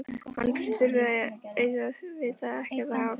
Hann þurfti auðvitað ekkert að hafa farið á sjóinn.